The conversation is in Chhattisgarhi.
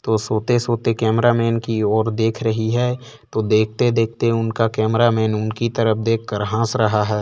तो सोते-सोते कैमरा मन की ओर देख रही है तो देखते-देखते उनका कैमरा मन उनकी तरफ देख कर हंस रहा है।